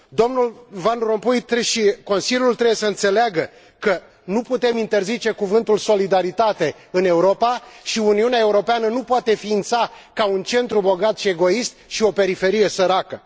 Dl Van Rompuy și Consiliul trebuie să înțeleagă că nu putem interzice cuvântul solidaritate în Europa și că Uniunea Europeană nu poate ființa ca un centru bogat și egoist și o periferie săracă.